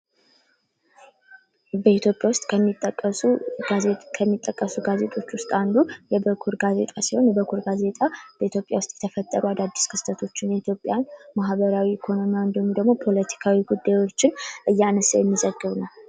በኢትዮጵያ ውስጥ ከሚጠቀሱ ጋዜጦች ውስጥ አንዱ የበኩር ጋዜጣ ሲሆን ፤ የበኩር ጋዜጣ በኢትዮጵያ ውስጥ የተፈጠሩ አዳዲስ ክስተቶችን የኢትዮጵያ ማኅበራዊ ፣ኢኮኖሚያዊና ፖለቲካዊ ጉዳዮችን እያነሳ የሚዘግብ ነው።